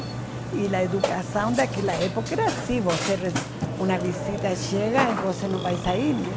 E a educação daquela época era assim, você re, uma visita chega e você não vai sair, né?